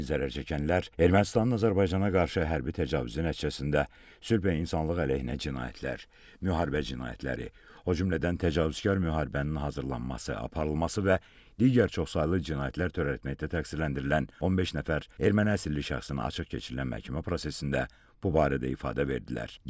Həmin zərərçəkənlər Ermənistanın Azərbaycana qarşı hərbi təcavüzü nəticəsində sülh və insanlıq əleyhinə cinayətlər, müharibə cinayətləri, o cümlədən təcavüzkar müharibənin hazırlanması, aparılması və digər çoxsaylı cinayətlər törətməkdə təqsirləndirilən 15 nəfər erməni əsirli şəxsin açıq keçirilən məhkəmə prosesində bu barədə ifadə verdilər.